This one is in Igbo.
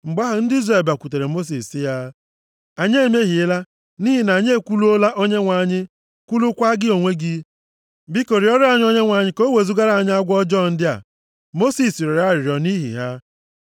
Mgbe ahụ, ndị Izrel bịakwutere Mosis sị ya, “Anyị emehiela, nʼihi na anyị ekwuluola Onyenwe anyị, kwulukwaa gị onwe gị. Biko rịọrọ anyị Onyenwe anyị ka o wezugara anyị agwọ ọjọọ ndị a.” Mosis rịọrọ arịrịọ nʼihi ha.